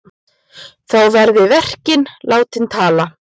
Þá verði verkin látin tala.